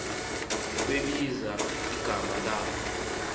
kwebizelwa uboya beegu